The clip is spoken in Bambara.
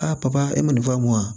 A papa e ma nin fɔ a mɔn